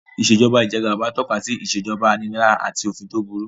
Ìṣèjoba ijẹgàba tọ́ka sí ìṣèjoba aninilára àti òfin tó burú